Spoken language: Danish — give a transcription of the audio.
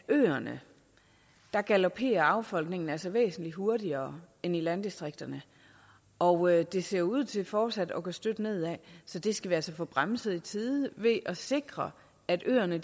øerne galoperer affolkningen altså væsentlig hurtigere end i landdistrikterne og det ser ud til fortsat at gå støt nedad så det skal vi altså få bremset i tide ved at sikre at øerne